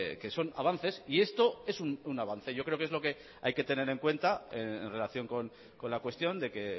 que son avances y esto es un avance yo creo que es lo que hay que tener en cuenta en relación con la cuestión de que